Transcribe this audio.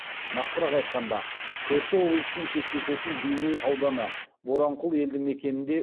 нақтырақ айтқанда көрші облыспен шектесетін бейнеу ауданы боранқұл елді мекенінде